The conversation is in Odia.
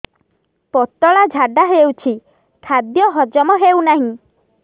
ପତଳା ଝାଡା ହେଉଛି ଖାଦ୍ୟ ହଜମ ହେଉନାହିଁ